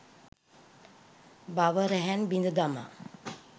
භව රැහැන් බිඳ දමා